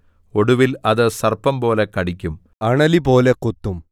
ഒടുവിൽ അത് സർപ്പംപോലെ കടിക്കും അണലിപോലെ കൊത്തും